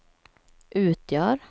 utgör